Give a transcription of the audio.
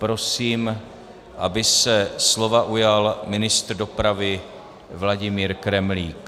Prosím, aby se slova ujal ministr dopravy Vladimír Kremlík.